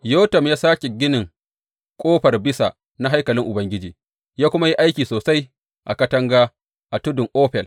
Yotam ya sāke ginin Ƙofar Bisa na haikalin Ubangiji, ya kuma yi aiki sosai a katanga a tudun Ofel.